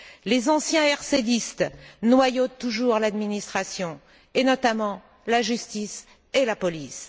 Les anciens RCDistes noyautent toujours l'administration, et notamment la justice et la police.